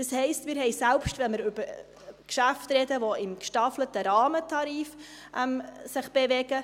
Das heisst: Wir haben einen gewissen Wettbewerb, selbst wenn wir über Geschäfte sprechen, die sich im gestaffelten Rahmentarif bewegen.